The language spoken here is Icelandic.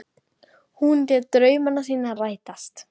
Hún lét drauma sína rætast.